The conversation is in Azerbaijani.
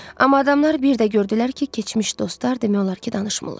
Amma adamlar bir də gördülər ki, keçmiş dostlar demək olar ki, danışmırlar.